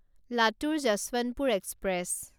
Latur Yesvantpur express